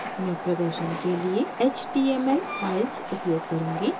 मैं प्रदर्शन के लिए html files उपयोग करुँगी